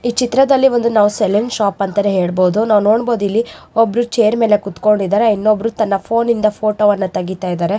ಈ ಚಿತ್ರದಲ್ಲಿ ಒಂದು ನಾವು ಸಲೂನ್ ಶಾಪ ಅಂತಾನೆ ಹೇಳಬಹುದು ನಾವು ನೋಡಬಹುದು ಇಲ್ಲಿ ಒಬ್ರು ಚೇರ್ ಮೇಲೆ ಕುತ್ಕೊಂಡಿದ್ದಾರೆ ಇನ್ನೊಬ್ಬರು ತನ್ನ ಫೋನ್ ಇಂದ ಫೋಟೋ ತೆಗಿತಾ ಇದ್ದಾರೆ.